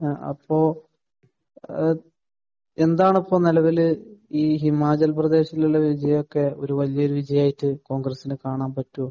ആഹ്. അപ്പോൾ ഏഹ് എന്താണ് ഇപ്പോൾ നിലവിൽ ഈ ഹിമാചൽ പ്രദേശിൽ ഉള്ള വിജയമൊക്കെ ഒരു വലിയ വിജയമായിട്ട് കോൺഗ്രസിന് കാണുവാൻ പറ്റുമോ?